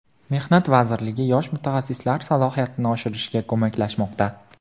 Mehnat vazirligi yosh mutaxassislar salohiyatini oshirishga ko‘maklashmoqda.